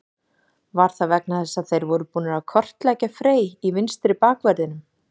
Var það vegna þess að þeir voru búnir að kortleggja Frey í vinstri bakverðinum?